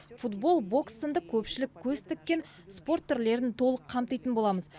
футбол бокс сынды көпшілік көз тіккен спорт түрлерін толық қамтитын боламыз